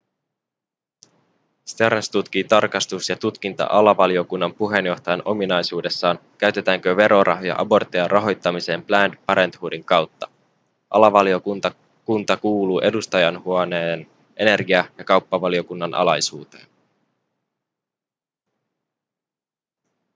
stearns tutkii tarkastus- ja tutkinta-alavaliokunnan puheenjohtajan ominaisuudessaan käytetäänkö verorahoja aborttien rahoittamiseen planned parenthoodin kautta alavaliokunta kuuluu edustajainhuoneen energia- ja kauppavaliokunnan alaisuuteen